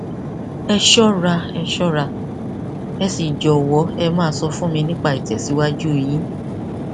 ẹ ṣọra ẹ ṣọra ẹ sì jọwọ ẹ máa sọ fún mi nípa ìtẹsíwájú yín